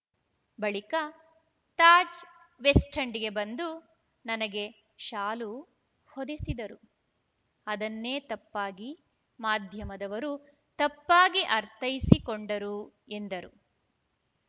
ಬಳಿಕ ತಾಜ್‌ ವೆಸ್ಟೆಂಡ್‌ಗೆ ಬಂದು ನನಗೆ ಶಾಲು ಹೊದೆಸಿದರು ಅದನ್ನೇ ತಪ್ಪಾಗಿ ಮಾಧ್ಯಮದವರು ತಪ್ಪಾಗಿ ಅರ್ಥೈಸಿಕೊಂಡರು ಎಂದರು